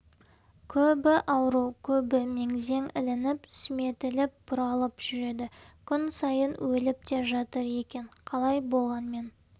көбі ауру көбі меңзең ілініп сүметіліп бұралып жүреді күн сайын өліп те жатыр екен қалай болғанмен